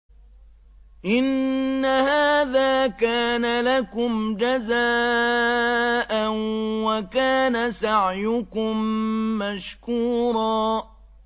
إِنَّ هَٰذَا كَانَ لَكُمْ جَزَاءً وَكَانَ سَعْيُكُم مَّشْكُورًا